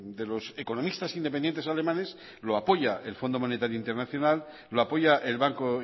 de los economistas independientes alemanes lo apoya el fondo monetario internacional lo apoya el banco